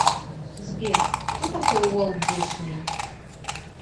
сбер кто такой уолт дисней